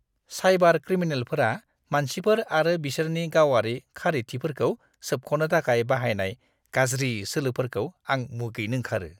Cyber क्रिमिनेलफोरा मानसिफोर आरो बिसोरनि गावारि खारिथिफोरखौ सोबख'नो थाखाय बाहायनाय गाज्रि सोलोफोरखौ आं मुगैनो ओंगारो!